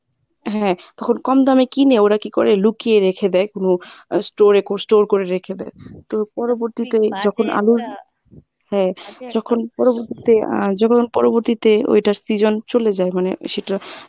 হ্যাঁ তখন কম দামে কিনে ওরা কী করে লুকিয়ে রেখে দেয় কোনো আহ store এ store করে রেখে দেয় তো পরবর্তীতে যখর আলুর হ্যাঁ আহ যখন পরবর্তীতে ঐটার season চলে যায় মানে সেটা